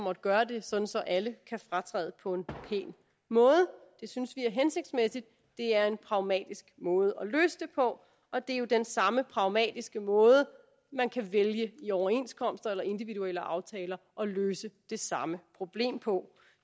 at gøre det sådan så alle kan fratræde på en pæn måde det synes vi er hensigtsmæssigt det er en pragmatisk måde at løse det på og det er jo den samme pragmatiske måde man kan vælge i overenskomster eller individuelle aftaler at løse det samme problem på